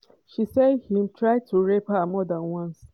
she say im try to rape her more dan once.